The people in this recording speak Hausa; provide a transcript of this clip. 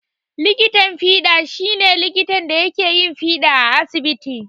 Likitan fiɗa shi ne likitan da yake yin fiɗa a asibiti.